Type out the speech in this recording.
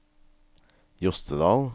Jostedal